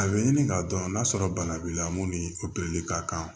A bɛ ɲini k'a dɔn n'a sɔrɔ bana b'i la mun ni ka kan